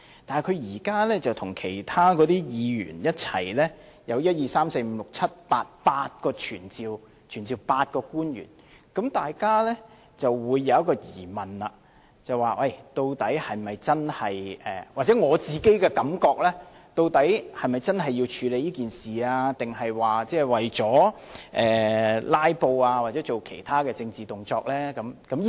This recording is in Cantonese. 但是，他現在與其他議員一起提出8項議案，要求傳召8位官員，大家便會有一個疑問——或許這只是我的感覺——究竟他是否真的要處理這件事，還是為了"拉布"或做其他政治動作呢？